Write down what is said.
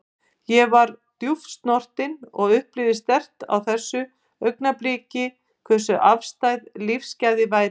Ég var djúpt snortin og upplifði sterkt á þessu augnabliki hversu afstæð lífsgæði væru.